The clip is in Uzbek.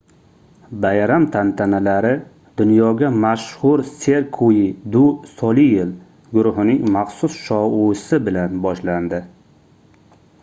bayram tantanalari dunyoga mashhur cirque du soleil guruhining maxsus shoui bilan boshlandi